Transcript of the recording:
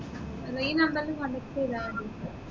ഈ number ൽ contact ചെയ്തമതി